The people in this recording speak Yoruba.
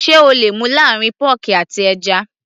sé o le mú láàrín pọ́ọ̀kì àti ẹja